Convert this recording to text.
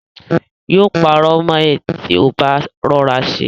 Yóò parọ́ mọ ẹ ti ò bá rọra ṣe